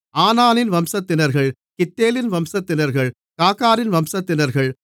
ஆனானின் வம்சத்தினர்கள் கித்தேலின் வம்சத்தினர்கள் காகாரின் வம்சத்தினர்கள்